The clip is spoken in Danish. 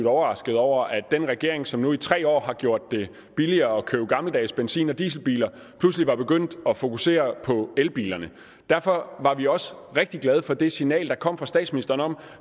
overrasket over at den regering som nu i tre år har gjort det billigere at købe gammeldags benzin og dieselbiler pludselig var begyndt at fokusere på elbilerne derfor var vi også rigtig glade for det signal der kom fra statsministeren om